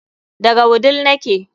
Daga wudil nake